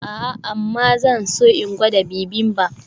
A'a amma zan so in gwada bibimbap.